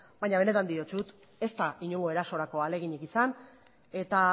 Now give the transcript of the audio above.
baina benetan diotsut ez da inongo erasorako ahaleginik izan eta